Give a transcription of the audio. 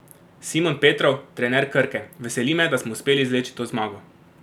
Simon Petrov, trener Krke: "Veseli me, da smo uspeli izvleči to zmago.